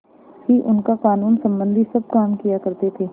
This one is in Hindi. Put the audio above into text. ही उनका कानूनसम्बन्धी सब काम किया करते थे